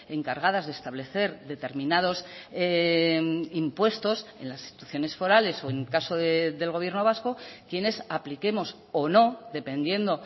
en cargadas de establecer determinados impuestos en las instituciones forales o en caso del gobierno vasco quienes apliquemos o no dependiendo